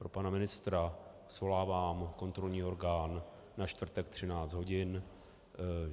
Pro pana ministra: Svolávám kontrolní orgán na čtvrtek 13 hodin.